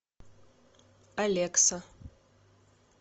алекса